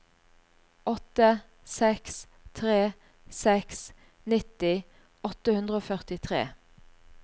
åtte seks tre seks nitti åtte hundre og førtitre